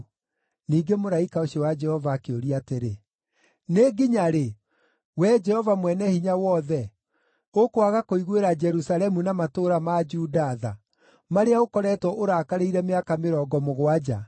Ningĩ mũraika ũcio wa Jehova akĩũria atĩrĩ, “Nĩ nginya rĩ, Wee Jehova Mwene-Hinya-Wothe, ũkwaga kũiguĩra Jerusalemu na matũũra ma Juda tha, marĩa ũkoretwo ũrakarĩire mĩaka mĩrongo mũgwanja?”